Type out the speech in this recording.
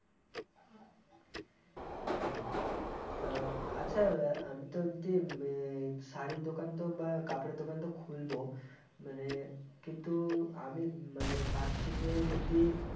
তা আচ্ছা আমি তো যদি ম-শাড়ির দোকানতো বা কাপড়ের দোকানতো খুলবো, মানে কিন্তু আমি মানে ভাবছি যে যদি-